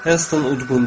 Heyston udqundu.